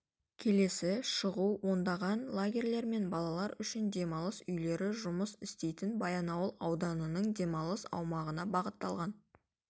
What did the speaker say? келесі шығу ондаған лагерьлер мен балалар үшін демалыс үйлері жұмыс істейтін баянауыл ауданының демалыс аймағына бағытталған